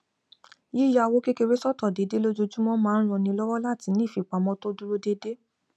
yíya owó kékeré sọtọ déédéé lójoojúmọ máa ń ran ni lọwọ láti ní ìfipamọ tó dúró déédéé